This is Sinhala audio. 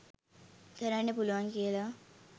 කරන්න පුළුවන් කියල